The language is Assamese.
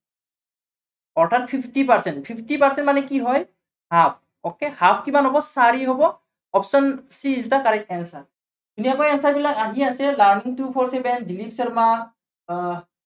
অৰ্থাত fifty percent শুধিছে, fifty percent মানে কি হয় okay half কিমান হব, চাৰি হব, option c is the correct ধুনীয়াকৈ answer বিলাক আহি আছে learning to four seven, Dilip Sharma আহ